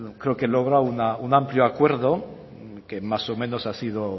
creo que logrado un amplio acuerdo que más o menos ha sido